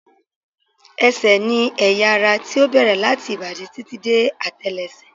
Ẹsẹ̀ ni ẹ̀yà ara tí ó bẹ̀rẹ̀ láti ìbàdí títí dé àtẹ́lẹsẹ̀